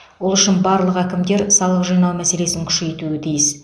ол үшін барлық әкімдер салық жинау мәселесін күшейтуі тиіс